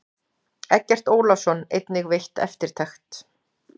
Eggert Ólafsson einnig veitt eftirtekt.